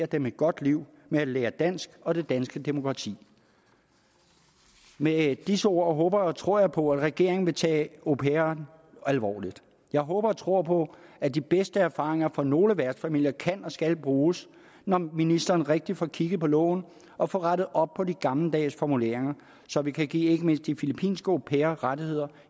dem et godt liv med at lære dansk og det danske demokrati med disse ord håber og tror jeg på at regeringen vil tage au pairen alvorligt jeg håber og tror på at de bedste erfaringer fra nogle værtsfamilier kan og skal bruges når ministeren rigtig får kigget på loven og får rettet op på de gammeldags formuleringer så vi kan give ikke mindst de filippinske au pairer rettigheder